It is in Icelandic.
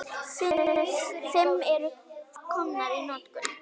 Fimm eru komnar í notkun.